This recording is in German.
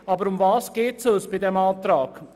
Worum geht es uns bei diesem Antrag?